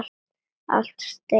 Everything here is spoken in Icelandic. Allt í steik.